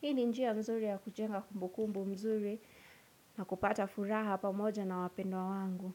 Hini njia mzuri ya kujenga kumbu kumbu mzuri na kupata furaha pamoja na wapendwa wangu.